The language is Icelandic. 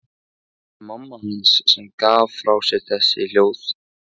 Það var mamma hans sem gaf frá sér þessi hljóð.